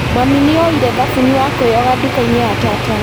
Mami nĩoire thabuni wa kwĩyoga nduka-inĩ ya tata